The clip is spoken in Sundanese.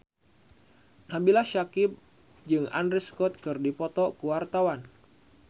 Nabila Syakieb jeung Andrew Scott keur dipoto ku wartawan